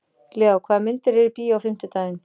Leo, hvaða myndir eru í bíó á fimmtudaginn?